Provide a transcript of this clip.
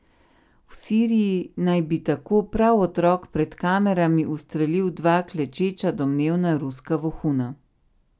V Siriji naj bi tako prav otrok pred kamerami ustrelil dva klečeča domnevna ruska vohuna.